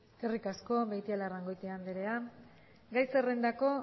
eskerrik asko beitialarrangoitia andrea gai zerrendako